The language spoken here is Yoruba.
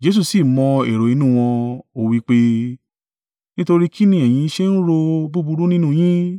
Jesu sì mọ̀ èrò inú wọn, ó wí pé, “Nítorí kín ni ẹ̀yin ṣe ń ro búburú nínú yín?